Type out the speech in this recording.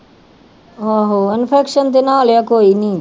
ਆਹੋ infection ਦੇ ਨਾਲ ਆ ਕੋਈ ਨੀ